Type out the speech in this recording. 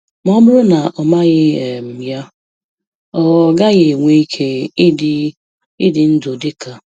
Ma ọ bụrụ na ọ maghị um ya, ọ um gaghị enwe ike ịdị ịdị ndụ dị ka